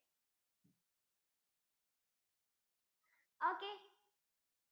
okay